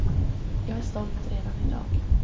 Jag är stolt redan i dag.